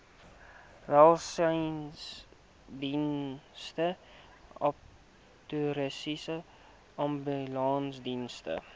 welsynsdienste abattoirs ambulansdienste